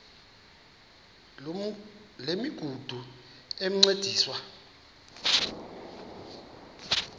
loo migudu encediswa